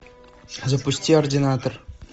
запусти ординатор